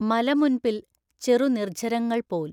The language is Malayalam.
മലമുൻപിൽ ചെറുനിർഝരങ്ങൾ പോൽ.